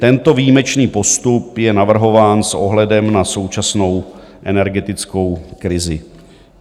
Tento výjimečný postup je navrhován s ohledem na současnou energetickou krizi.